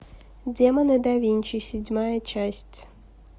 демоны да винчи седьмая часть